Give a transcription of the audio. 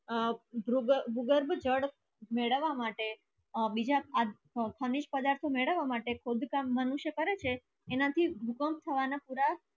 ગુગર જલ મેડાવા માટે બીજ ખનીશ પદરતો મેદવા માતે ખોડ કામ મનુષ્ય કરે એના થી ભૂકંપ થવાના પુરા